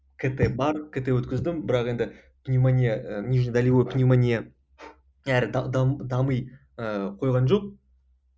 кт бар кт өткіздім бірақ енді пневмония ы междудолевой пневмония әрі дами ы қойған жоқ